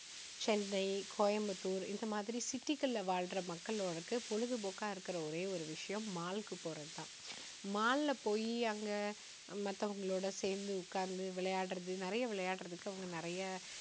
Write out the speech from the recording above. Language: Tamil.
சென்னை, கோயம்புத்தூர் இந்த மாதிரி city களில வாழுற மக்களுக்கு பொழுது போக்கா இருக்குற ஒரே ஒரு விஷயம் mall க்கு போறதுதான். mall ல போயி அங்க மத்தவங்களோட சேர்ந்து உக்காந்து விளையாடுறது நிறைய விளையாடுறதுக்கு அவங்க நிறைய